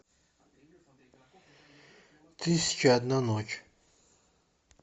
тысяча и одна ночь